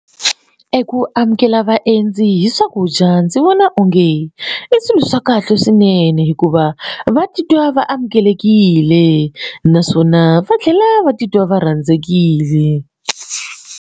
Eku amukela vaendzi hi swakudya ndzi vona onge i swilo swa kahle swinene hikuva va titwa va amukelekile naswona va tlhela va titwa va rhandzekile.